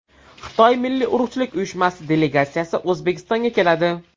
Xitoy milliy urug‘chilik uyushmasi delegatsiyasi O‘zbekistonga keladi.